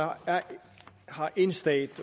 har én stat